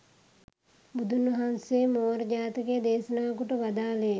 බුදුන් වහන්සේ මෝර ජාතකය දේශනා කොට වදාළේ,